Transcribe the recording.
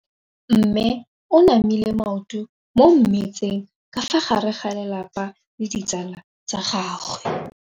Mme o namile maoto mo mmetseng ka fa gare ga lelapa le ditsala tsa gagwe.